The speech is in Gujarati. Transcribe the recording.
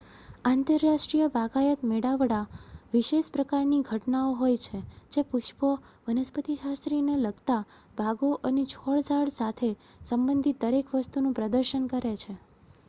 આંતરરાષ્ટ્રીય બાગાયત મેળાવડા વિશેષ પ્રકારની ઘટનાઓ હોય છે જે પુષ્પો વનસ્પતિશાસ્ત્રને લગતા બાગો અને છોડ-ઝાડ સંબંધિત દરેક વસ્તુનું પ્રદર્શન કરે છે